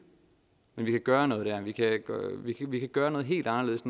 men vi kan gøre noget dér og vi kan gøre noget helt anderledes